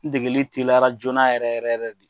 N degeli teliyara joona yɛrɛ yɛrɛ yɛrɛ de.